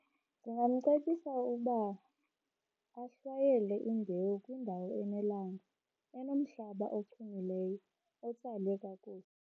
Ndingamcebisa ukuba ahlwayele imbewu kwindawo enelanga, enomhlaba ochumileyo otsale kakuhle.